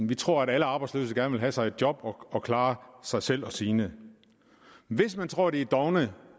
vi tror at alle arbejdsløse gerne vil have sig et job og klare sig selv og sine hvis man tror at arbejdsløse er dovne